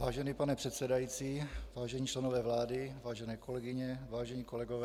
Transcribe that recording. Vážený pane předsedající, vážení členové vlády, vážené kolegyně, vážení kolegové.